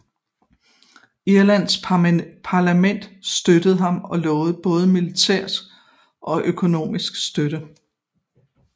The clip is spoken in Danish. Irlands parlament støttede ham og lovede både militær og økonomisk støtte